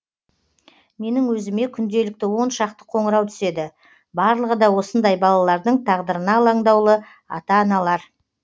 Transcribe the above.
менің өзіме күнделікті он шақты қоңырау түседі барлығы да осындай балалардың тағдырына алаңдаулы ата аналар